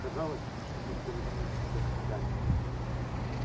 казалось что мир перевернулся вверх ногами